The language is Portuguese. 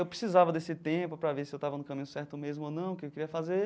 Eu precisava desse tempo para ver se eu estava no caminho certo mesmo ou não, o que queria fazer.